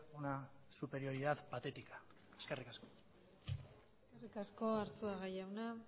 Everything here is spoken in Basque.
una superioridad patética eskerrik asko eskerrik asko arzuaga jauna